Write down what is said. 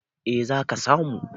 eh za ka samu